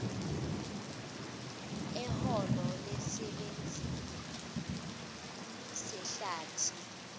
eholo lesisebenzi sehlathi